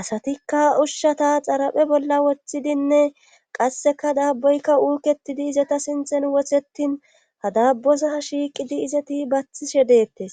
asatikka ushshata xaraphe bolla woththidinne qasseka daabboykka uuketidi izata sinthen wothetin ha daabbosa shiiqidi izeti bathishe dettes.